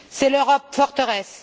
C'est l'Europe forteresse.